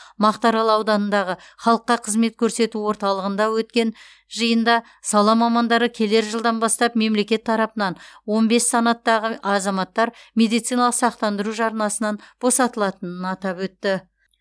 мақтарал ауданындағы халыққа қызмет көрсету орталығында өткен жиында сала мамандары келер жылдан бастап мемлекет тарапынан он бес санаттағы азаматтар медициналық сақтандыру жарнасынан босатылатынын атап өтті